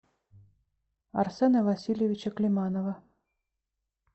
арсена васильевича климанова